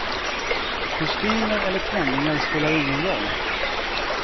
Kostymer eller klänningar spelar ingen roll.